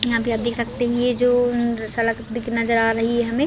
यहाँ पे आप देख सकते है ये जो सड़क दिख नज़र आ रही हैहमे--